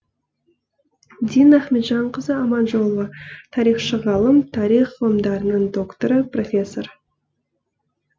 дина ахметжанқызы аманжолова тарихшы ғалым тарих ғылымдарың докторы профессор